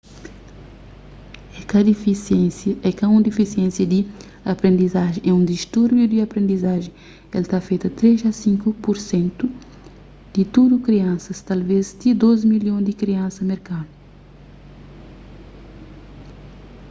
é ka un difisiénsia di aprendizajen é un distúrbiu di aprendizajen el ta afeta 3 a 5 pur sentu di tudu kriansas talvês ti 2 milhon di kriansa merkanu